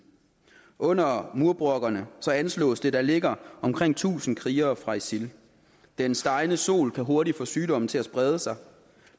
under murbrokkerne anslås det at der ligger omkring tusind krigere fra isil den stegende sol kan hurtigt få sygdomme til at sprede sig